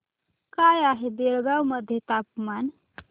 काय आहे बेळगाव मध्ये तापमान